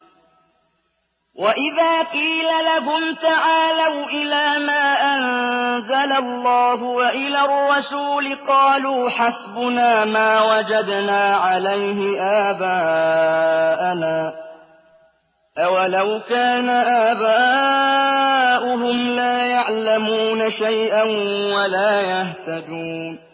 وَإِذَا قِيلَ لَهُمْ تَعَالَوْا إِلَىٰ مَا أَنزَلَ اللَّهُ وَإِلَى الرَّسُولِ قَالُوا حَسْبُنَا مَا وَجَدْنَا عَلَيْهِ آبَاءَنَا ۚ أَوَلَوْ كَانَ آبَاؤُهُمْ لَا يَعْلَمُونَ شَيْئًا وَلَا يَهْتَدُونَ